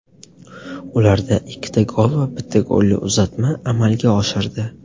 Ularda ikkita gol va bitta golli uzatma amalga oshirdi.